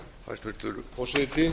hæstvirtur forseti